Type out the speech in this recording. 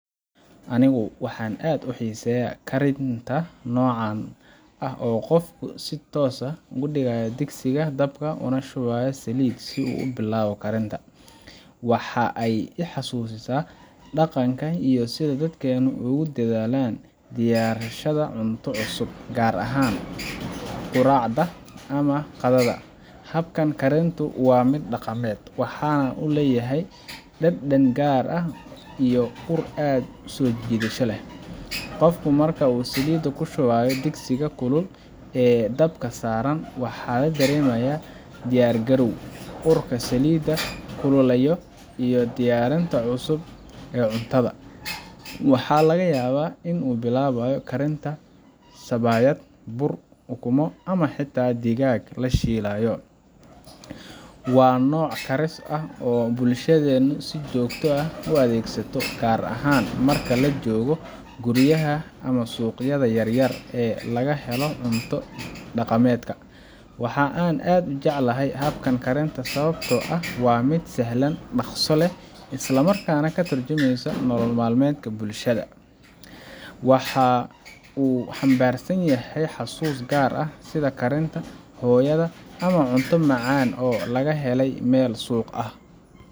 Anigu waxaan aad u xiiseeyaa karinta noocan ah oo qofku si toos ah u dhigayo digsiga dabka una shubayo saliid si uu u bilaabo karinta. Waxa ay i xasuusisaa dhaqanka iyo sida dadkeennu ugu dedaalaan diyaarsashada cunto cusub, gaar ahaan quraacda ama qadada. Habkan karintu waa mid dhaqameed, waxaana uu leeyahay dhadhan gaar ah iyo ur aad u soo jiidasho leh. Qofka marka uu saliidda ku shubayo digsiga kulul ee dabka saaran, waxaa la dareemayaa diyaargarow, urka saliidda kululaya iyo diyaarinta cunto cusub. Waxaa laga yaabaa in uu bilaabayo karinta sabayad, bur, ukumo, ama xitaa digaag la shiilayo. Waa nooc karis ah oo ay bulshadeennu si joogto ah u adeegsato, gaar ahaan marka la joogo guryaha ama suuqyada yaryar ee laga helo cunto dhaqameedka. Waxa aan u jecelahay habkan karinta sababtoo ah waa mid sahlan, dhaqso leh, isla markaana ka tarjumaya nolol maalmeedka bulshada. Waxa uu xambaarsan yahay xasuuso gaar ah, sida karinta hooyada, ama cunto macaan oo laga helay meel suuq ah.